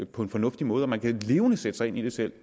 på en fornuftig måde man kan levende sætte sig ind i det selv